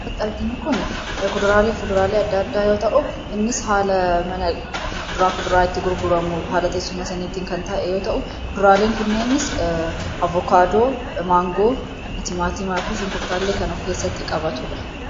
Kan asitti arginu kun kuduraalee fi fuduraalee adda addaa yoo ta'u, innis haala mana itti gurguramu haala teessuma saniitiin kan taa'e yoo ta'u, kuduraaleen kunneenis avokaadoo, maangoo, timaatimaa fi shunkurtii kan of keessatti qabatudha.